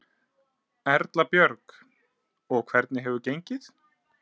Erla Björg: Og hvernig hefur gengið?